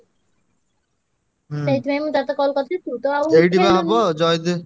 ସେଇଥିପାଇଁ ମୁଁ ତତେ call କରିଥିଲି ତୁ ତ ଆଉ